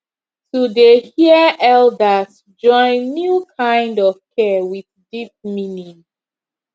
to dey hear elders join new kind of care with deep meaning